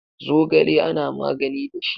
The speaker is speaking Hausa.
Zogale ana magani da shi.